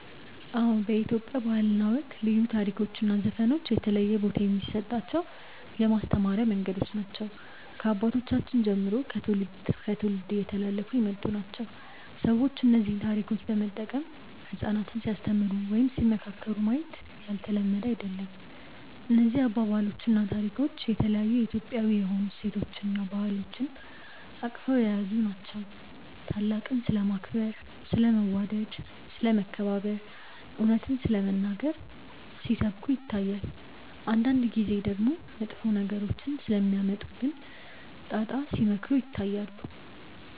አዎ በኢትዮጵያ ባህል እና ወግ ልዩ ታሪኮች እና ዘፈኖች የተለየ ቦታ የሚሰጣቸው የማስተማሪያ መንገዶች ናቸው። ከአባቶቻችን ጀምሮ ከትውልድ እስከ ትውልድ እየተላለፉ የመጡ ናቸው። ሰዎች እነዚህን ታሪኮች በመጠቀም ህጻናትን ሲያስተምሩ ወይም ሲመካከሩ ማየት ያልተለመደ አይደለም። እነዚህ አባባሎች እና ታሪኮች የተለያዩ የኢትዮጵያዊ የሆኑ እሴቶችን እና ባህሎችን አቅፈው የያዙ ናቸው። ታላቅን ስለማክበር፣ ስለ መዋደድ፣ ስለ መከባበር፣ እውነትን ስለመናገር ሲሰብኩ ይታያል። አንዳንድ ጊዜ ደግሞ መጥፎ ነገሮች ስለሚያመጡብን ጣጣ ሲመክሩ ይታያሉ።